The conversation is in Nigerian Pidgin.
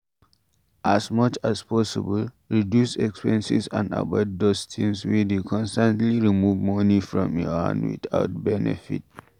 As much as possible, reduce expenses and avoid those things wey dey constantly remove money for your hand without benefit